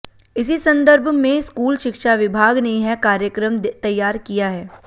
इसी संदर्भ में स्कूल शिक्षा विभाग ने यह कार्यक्रम तैयार किया है